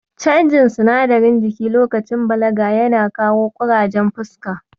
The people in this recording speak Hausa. Canjin sinadarin jiki lokacin balaga yana kawo ƙurajen fuska.